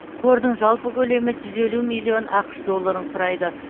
қордың жалпы көлемі жүз елу миллион ақш долларын құрайды